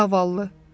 Zavallı.